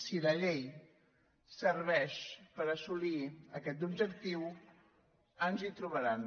si la llei serveix per assolir aquest objectiu ens hi trobaran